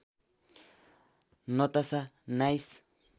Natasha nice